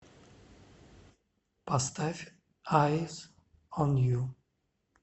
поставь айс он ю